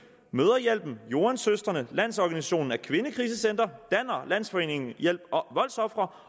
mødrehjælpen joan søstrene landsorganisationen af kvindekrisecentre danner landsforeningen hjælp voldsofre